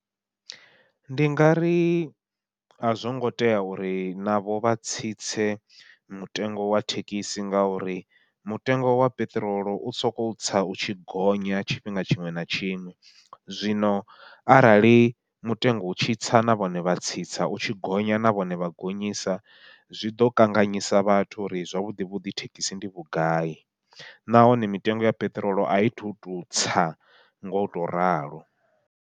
Ndi nga ri azwo ngo tea uri navho vha tsitse mutengo wa thekhisi, ngauri mutengo wa peṱirolo u sokou tsa u tshi gonya tshifhinga tshiṅwe na tshiṅwe, zwino arali mutengo u tshitsa na vhone vha tsitsa u tshi gonya na vhone vha gonyisa zwi ḓo kanganyisa vhathu uri zwavhuḓi vhuḓi thekhisi ndi vhugai nahone mitengo ya peṱirolo ai thu tu tsa ngo to ralo.